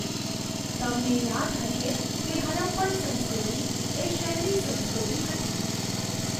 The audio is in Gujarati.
તમને યાદ હશે કે હરપ્પન સંસ્કૃતિ એ શહેરી સંસ્કૃતિ હતી.